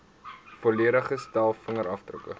volledige stel vingerafdrukke